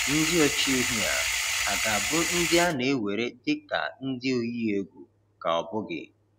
Ndị ọchị ehi a, ha ga-abụ ndị a na-ewere dị ka ndị oyi egwu ka ọ bụghị?